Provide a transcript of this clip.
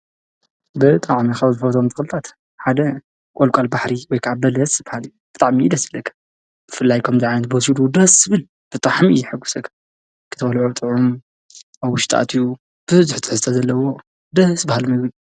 ብጣዕሚ ካብዝፈትዎም ተክልታት ሓደ ቆልቋል ባሕሪ ወከዓ በለስ ይበሃል ብጣዕሚ'የ ደስ ዝብለኒ ብፍላይ ከምዚ ዓይነት በሲሉ ደስ ዝብል ብጣዕሚ'የ ዘሕጉሰካ ክትበልዖ ጥዑም ኣብ ዉሽጢ ኣትዩ ብዙሕ ትሕዝቶ ዘለዎ ደስ ብሃሊ ምግቢ እዩ።